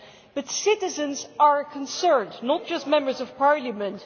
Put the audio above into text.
But citizens are concerned, not just Members of Parliament.